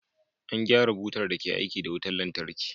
An gyara butar da ke aiki da wutar lantarki.